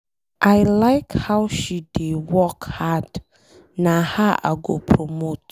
I like how she dey work hard. Na her I go promote.